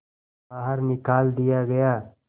बाहर निकाल दिया गया